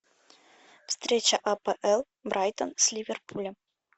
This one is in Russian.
встреча апл брайтон с ливерпулем